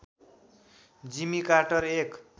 जिमी Carter एक